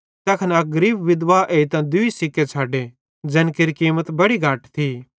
तैखन अक गरीब विधवां एइतां दूई सिक्के छ़ड्डे ज़ैन केरि कीमत बड़ी घट थी